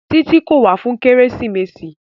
Títí kò wá fún kérésìmesì.